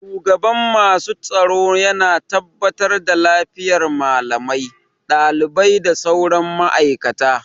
Shugaban masu tsaro yana tabbatar da lafiyar malamai, ɗalibai da sauran ma'aikata